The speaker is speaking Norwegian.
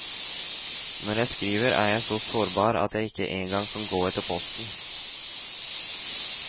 Når jeg skriver er jeg så sårbar at jeg ikke engang kan gå etter posten.